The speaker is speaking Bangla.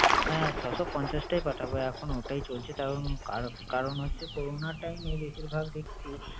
হ্যাঁ! ছয়শ পঞ্চাশটাই পাঠাবো। এখন ওটাই চলছে তার কার~ কারন হচ্ছে করোনা time এ বেশিরভাগ দেখছি